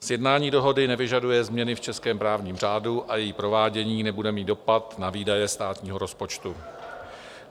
Sjednání dohody nevyžaduje změny v českém právním řádu a její provádění nebude mít dopad na výdaje státního rozpočtu.